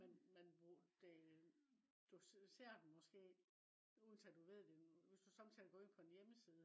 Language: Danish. men men man bruger det. Du ser den måske uden at du ved det. Hvis du somme tider går ind på en hjemmeside